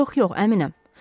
Yox, yox, əminəm.